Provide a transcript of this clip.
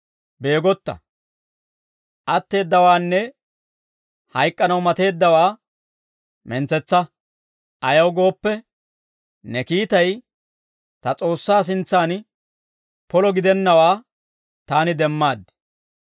Beegotta! Atteeddawaanne hayk'k'anaw mateeddawaa mentsetsa. Ayaw gooppe, ne kiitay ta S'oossaa sintsan polo gidennawaa taani demmad.